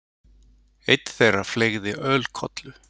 Einn þeirra fleygði ölkollu.